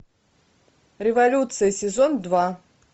революция сезон два